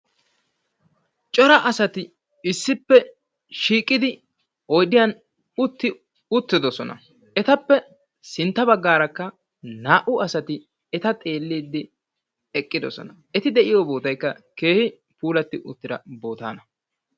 Cora asati issippe shiiqidi oydiyan utti uttidosona. Etappe sintta baggaarakka naa"u asati eta xeelliiddi eqqidosona. Eti de'iyo bootaykka keehi puulatti uttida bootaana.